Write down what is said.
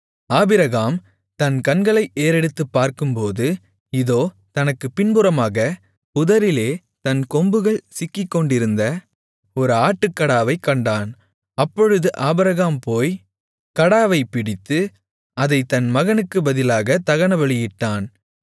Abraham தன் கண்களை ஏறெடுத்துப் பார்க்கும்போது இதோ தனக்குப் பின்புறமாகப் புதரிலே தன் கொம்புகள் சிக்கிக்கொண்டிருந்த ஒரு ஆட்டுக்கடாவைக் கண்டான் அப்பொழுது ஆபிரகாம் போய் கடாவைப் பிடித்து அதைத் தன் மகனுக்குப் பதிலாகத் தகனபலியிட்டான்